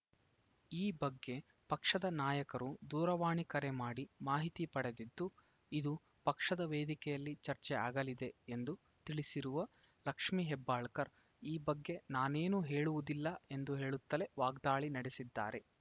ಈ ಬಗ್ಗೆ ಪಕ್ಷದ ನಾಯಕರು ದೂರವಾಣಿ ಕರೆ ಮಾಡಿ ಮಾಹಿತಿ ಪಡೆದಿದ್ದು ಇದು ಪಕ್ಷದ ವೇದಿಕೆಯಲ್ಲಿ ಚರ್ಚೆ ಆಗಲಿದೆ ಎಂದು ತಿಳಿಸಿರುವ ಲಕ್ಷ್ಮೀ ಹೆಬ್ಬಾಳ್ಕರ್‌ ಈ ಬಗ್ಗೆ ನಾನೇನೂ ಹೇಳುವುದಿಲ್ಲ ಎಂದು ಹೇಳುತ್ತಲೇ ವಾಗ್ದಾಳಿ ನಡೆಸಿದ್ದಾರೆ